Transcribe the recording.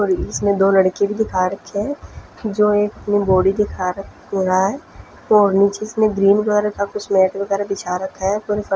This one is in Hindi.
सॉरी इसमें दो लड़के भी दिखा रखे है जो एक वो दिखा नीचे इसमे ग्रीन कलर का कुछ मेट वेगेरा बिछा रखा है --